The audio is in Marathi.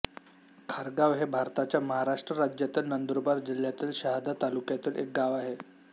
खारगाव हे भारताच्या महाराष्ट्र राज्यातील नंदुरबार जिल्ह्यातील शहादा तालुक्यातील एक गाव आहे